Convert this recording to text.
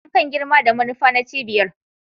Sassan kan girma da manufa na cibiyar